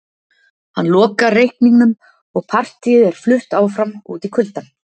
Hann lokar reikningnum og partíið er flutt áfram út í kuldann